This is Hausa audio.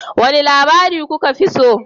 Wane labari kuka fi so?